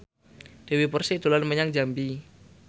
Dewi Persik dolan menyang Jambi